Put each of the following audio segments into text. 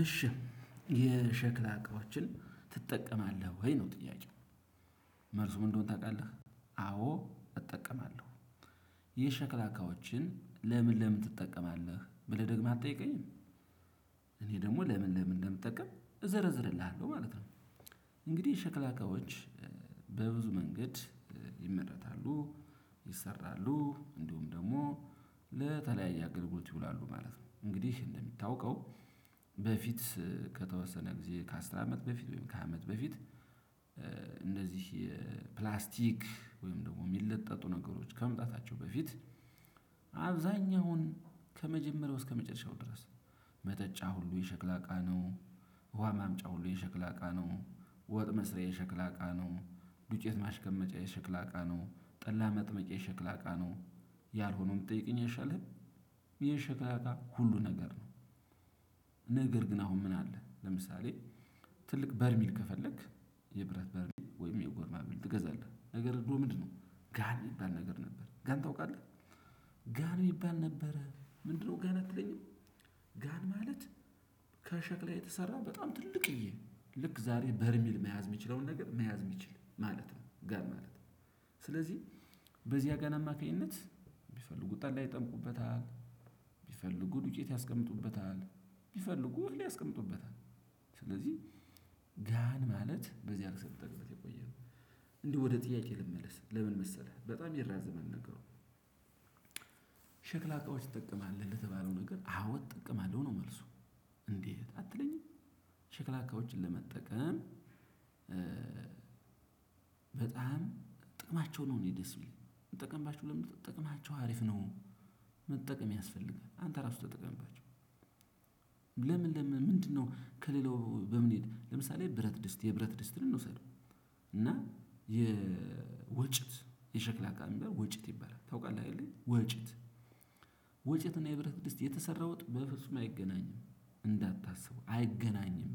እሺ የሸክላ እቃዎችን ትጠቀማለህ ወይ ነው ጥያቄው መልሱ ምን እንደሆነ ታውቃለህ? አዎ እጠቀማለሁ። የሸክላ እቃዎችን ለምን ለምን ትጠቀማለህ ብለህ ደግመህ አትጠይቀኝም? እኔ ደግሞ ለምን ለምን እንደምጠቀም እዘረዝርልሃለው ማለት ነው። እንግዲህ የሸክላ እቃዎች። በብዙ መንገድ ይመረታሉ ይሰራሉ እንዲሁም ደግሞ ለተለያየ አገልግሎት ይውላሉ ማለት ነው። እንግዲህ እንደሚታወቀው በፊት ከተወሰነ ጊዜ ከአስር አመት በፊት ወይም ከሃያ አመት በፊት። እነዚህ የፕላስቲክ ወይም ደግሞ የሚለጠጡ ነገሮች ከመምጣታቸው በፊት። አብዛኛውን ከመጀመሪያው እስከ መጨረሻው ድረስ መጠጫ ሁሉ የሸክላ እቃ ነው። ውሃ ማምጫ ሁሉ የሸክላ አቃ ነው። ወጥ መስሪያ የሸክላ አቃ ነው ዱጬት ማስቀመጫ የሸክላ አቃ ነው ጠላ መጥመቂያ የሸክላ እቃ ነው። ያልሆነውም ብትጠይቀኝ አይሻልህም? የሸክላ እቃ ሁሉ ነገር ነው። ነገር ግን አሁን ምን አለ ለምሳሌ። ትልቅ በርሚል ከፈለክ የብረት በርሜል ወይም የጎርማ በርሜል ትገዛለህ ነገር ግን ምንድነው ጋን የሚባል ነገር ነበር ጋን ታውቃለህ? ጋን የሚባል ነበረ ምንድን ነው አትለኝም? ጋን ማለት ከሸክላ የተሰራ በጣም ትልቅዬ ልክ ዛሬ በርሜል መያዣ ምችለውን ነገር መያዝ የሚችል ማለት ነው። ጋን ማለት። ስለዚህ በዚያ ጋን አማካኝነት ቢፈልጉ ጠላ ይጠምቁበታል ቢፈልጉ ዱጬት ያስቀምጡበታል ቢፈልጉት ያስቀምጡበታል። ስለዚህ ጋን ማለት በዚህ አርክሰን ተገበት የቆየው። እንዲህ ወደ ጥያቄ ልመለስ ለምን መሰለህ በጣም ይራዘማል ነገሩ። ሸክላ እቃዎች ትጠቀማለህ ለተባለው ነገር አዎ እጠቀማለሁ ነው መልሱ። እንዴት አትለኝም? ሽክላ እቃዎችን ለመጠቀም በጣም ጥቅማቸው ነው እኔ ደስ የሚለኝ ምጠቀምባችሁ ለምን እንደሆነ ጥቅማቸው አሪፍ ነው። መጠቀም ያስፈልጋል አንተ ራሱ ተጠቀምባችሁ። ለምን ለምን ምንድነው ከሌላው በምን ለምሳሌ ብረት ድስት የብረት ድስትን እንውሰደው። እና የወጭት የሸክላ እቃ ሚባለው ወጭት ይባላል ታውቃለህ ወጭት? ወጨትና የብረት ድስት የተሰራ ወጥ በፍጹም አይገናኝም እንዳታስቡ አይገናኝም።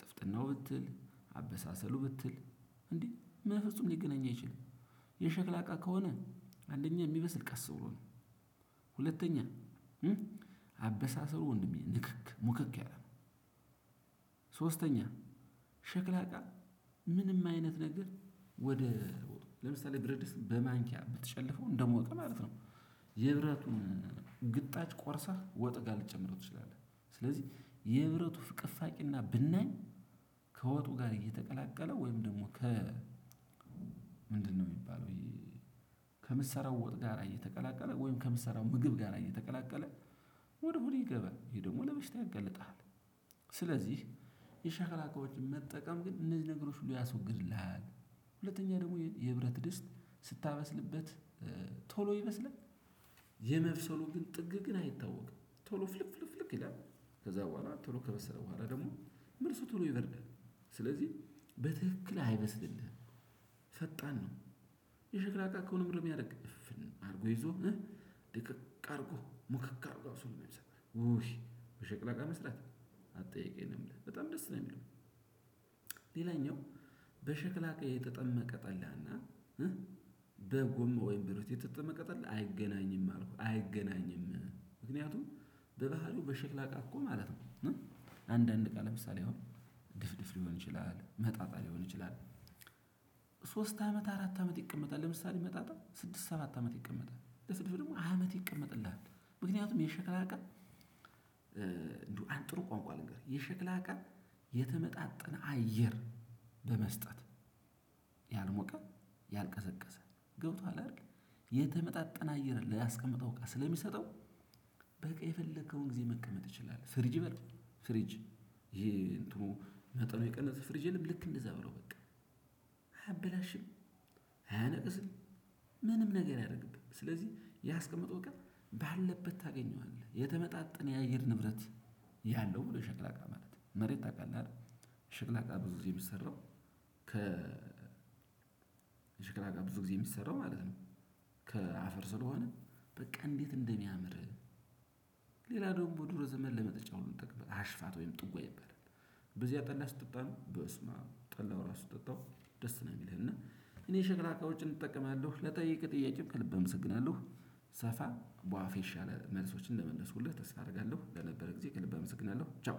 ጥፍጥናው ብትል አበሳሰሉ ብትል እንዴ በፍጹም ሊገናኙ አይችልም። የሸክላ እቃ ከሆነ አንደኛ የሚበስል ቀስ ብሎ ነው። ሁለተኛ አበሳሰሩ ወንድሜ ንክክ ሙክክ ያለ ነው። ሶስተኛ ሸክላ እቃ ምንም አይነት ነገር ወደ ለምሳሌ ብረት ድስት በማንኪያ ብትጨልፈው እንደሞቀ ማለት ነው። የብረቱን ግጣጭ ቆርሰህ ወጥ ጋር ልጨምረው ትችላለህ። ስለዚህ የብረቱ ፍቅፋቂና ብናይ ከወጡ ጋር እየተቀላቀለ ወይም ደግሞ ከ ምንድነው ሚባለው ይሄ? ከምትሰራው ወጥ ጋር እየተቀላቀለ ወይም ከምትሰራው ምግብ ጋር እየተቀላቀለ ወደ ሆድህ ይገባል ይሄ ደግሞ ለበሽታ ያጋልጥሃል። ስለዚህ የሸክላ እቃዎችን መጠቀም ግን እነዚህ ነገሮች ሁሉ ያስወግድልሃል። ሁለተኛ ደግሞ የህብረት ድስት ስታበስልበት ቶሎ ይመስልሃል። የመብሰሉ ግን ጥግ ግን አይታወቅም። ቶሎ ፍልክ ፍልክ ፍልክ ይላል። ከዛ በኋላ ቶሎ ከበሰለ በኋላ ደግሞ ምርሱ ቶሎ ይበርዳል። ስለዚህ በትክክል አይበስልልህም። ፈጣን ነው። የሽክላ እቃ ከሆነ ምን ያደርግ አድርጎ ይዞ ድቅቅ አድርጎ ሙክክ አድርጎ አብስሎ ነው ሚሰጥህ ውይ በሸክላ እቃ መስራት አትጠይቀኝ ነው የምልህ በጣም ደስ ነው የሚለው። ሌላኛው በሽክላ እቃ የተጠመቀ ጠላና። በጎም ወይም ብርቲ የተጠመቀ ጠላ አይገናኝም አልኩህ አይገናኝም። ምክንያቱም በባህሪው በሽክላ እቃ እኮ ማለት ነው። አንዳንድ እቃ ለምሳሌ አሁን ድፍድፍ ሊሆን ይችላል መጣጣ ሊሆን ይችላል። ሶስት አመት አራት አመት ይቀመጣል ለምሳሌ መጣጣል ስድስት ሰባት አመት ይቀመጣል ለስልፍ ደግሞ ሃያ አመት ይቀመጥልሃል። ምክንያቱም የሸክላ እቃ። እንደው ጥሩ ቋንቋ ልንገርህ የሸክላ ቀን። የተመጣጠነ አየር በመስጠት ያልሞቀ ያልቀዘቀዘ ገብቶሃል አይደል? የተመጣጠነ አየር ላስቀምጠው እቃ ስለሚሰጠው። በቃ የፈለከውን ግዜ መቀመጥ ይችላል ፍሪጅ በለው ፍሪጅ። ይሄ እንትኑ ነጥቡ የቀነሰ ፍሪጅ የለም ልክ እንደዛ በለው። አያበላሽም አያነቅዝም። ምንም ነገር አያደርግብህ ስለዚህያ ያስቀመጥከው እውቀት ባለበት ታገኘዋለህ። የተመጣጠነ የአየር ንብረት ያለው ብሎ ሸክላ እቃ ማለት ነው። መሬት ታውቃለህ አይደል? ሸክላ እቃ ብዙ ጊዜ የሚሰራው። የሸክላ እቃ ብዙ ብዙ ጊዜ ሚሰራው ማለት ነው። ከአፈር ስለሆነ በቃ እንዴት እንደሚያምር። ሌላ ደግሞ ድሮ ዘመን ለመጠጫው ምንጠቀምበት አሽፋት ወይም ጥጎ ይባላል። በዚያ ጠላ ስትጠጣ ነው በስመአብ ጠላው ራሱ ስትጠጣው ደስ ነው የሚልህ እና። እኔ ሸክላ እቃዎችን እጠቀማለሁ ለጠየቀኝ ጥያቄም ከልብ አምስግናለሁ። ሳፋ በዋፌ የተሻለ መልሶችን እንደመለሱልህ ተስታ አደርጋለሁ ለነበረ ጊዜ ከልብ እመሰግናለሁ ቻው።